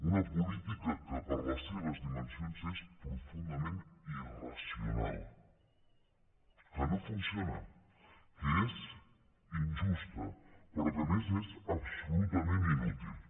una política que per les seves dimensions és profundament irracional que no funciona que és injusta però que a més és absolutament inútil